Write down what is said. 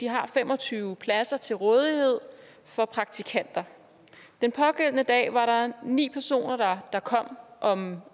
har fem og tyve pladser til rådighed for praktikanter den pågældende dag var der ni personer der kom om